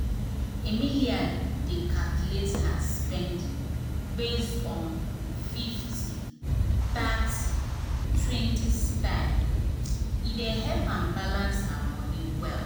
emily dey calculate her spending based on fifty thirty and twenty style e help am balance her money well.